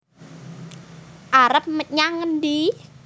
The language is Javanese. arep nyang endi